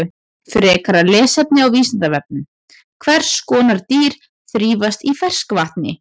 Frekara lesefni á Vísindavefnum: Hvers konar dýr þrífast í ferskvatni?